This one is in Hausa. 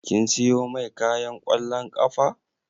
Kin siyo mai kayan ƙwallon ƙafa